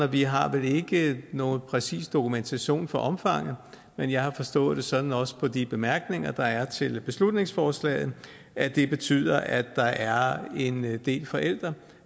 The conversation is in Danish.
vi har vel ikke nogen præcis dokumentation for omfanget men jeg har forstået det sådan også på de bemærkninger der er til beslutningsforslaget at det betyder at der er en del forældre